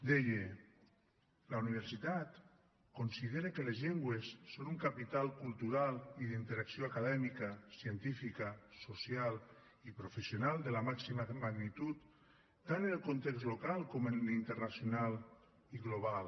deia la universitat considera que les llengües són un capital cultural i d’interacció acadèmica científica social i professional de la màxima magnitud tant en el context local com en l’internacional i global